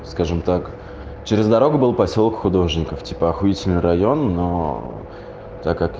скажем так через дорогу был посёлок художников типа ахуительный район но так как